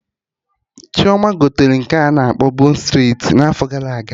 Chioma gotere nke a na-akpọ bon streti n'afọ gara aga